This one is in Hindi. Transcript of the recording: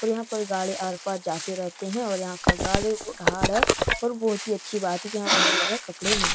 और यहाँ पर गाड़ी आर-पार जाते रहते हैं और यहाँ का गाड़ी बहुत हार्ड है और बहुत ही अच्छी बात है की यहाँ बढ़िया-बढ़िया कपड़े मिल --